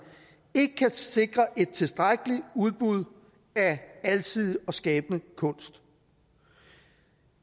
ikke kan sikre et tilstrækkeligt udbud af alsidig og skabende kunst